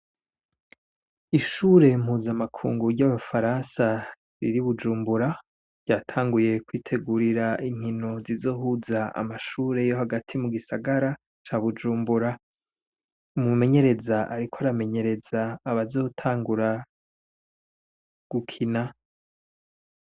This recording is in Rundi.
Ishure mpuza amakunguwuryoa abo faransa riri bujumbura ryatanguye kwitegurira inkino zizohuza amashureyo hagati mu gisagara ca bujumbura mumenyereza, ariko aramenyereza abazotangura gukina.